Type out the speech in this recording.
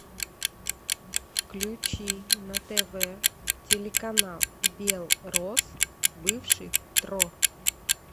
включи на тв телеканал белрос бывший тро